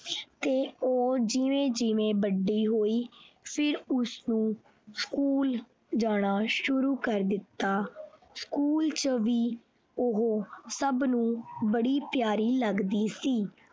ਤੇ ਉਹ ਜਿਵੇਂ ਜਿਵੇਂ ਵੱਡੀ ਹੋਈ ਫਿਰ ਉਸਨੂੰ school ਜਾਣਾ ਸ਼ੁਰੂ ਕਰ ਦਿੱਤਾ school ਚ ਵੀ ਉਹ ਉਹ ਸਬ ਨੂੰ ਬੜੀ ਪਿਆਰੀ ਲਗਦੀ ਸੀ।